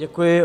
Děkuji.